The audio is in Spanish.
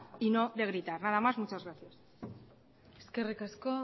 y no de gritar nada más y muchas gracias eskerrik asko